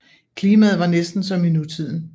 Klimaet var næsten som i nutiden